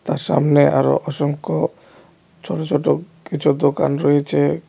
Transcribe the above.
তার সামনে আরো অসংখ্য ছোট ছোট কিছু দোকান রয়েছে.